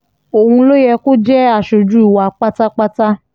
òun ló yẹ kó jẹ́ aṣojú wa pátápátá